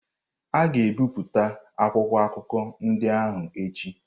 A ga-ebipụta akwụkwọ akụkọ ndị ahụ echi.